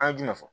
An ye jumɛn fɔ